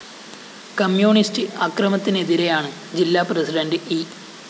communist അക്രമത്തിനെതിരെയാണ് ജില്ലാ president E